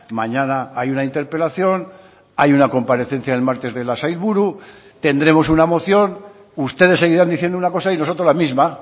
mañana hay una interpelación hay una comparecencia el martes de la sailburu tendremos una moción ustedes seguirán diciendo una cosa y nosotros la misma